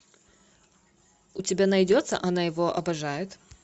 у тебя найдется она его обожает